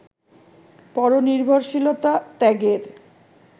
পরনির্ভরশীলতা ত্যাগের